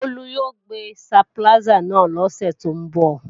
Bólú yóò gbé stabiláísà wá lọ́sè tó ń bọ̀